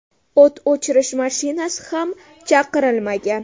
O‘t o‘chirish mashinasi ham chaqirilmagan.